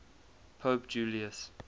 pope julius